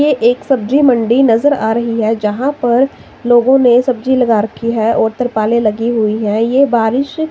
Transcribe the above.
ये एक सब्जी मंडी नजर आ रही है जहाँ पर लोगो ने सब्जी लगा रखी है और तिरपाले लगी हुई है ये बारिश --